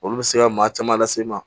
Olu bɛ se ka maa caman lase i ma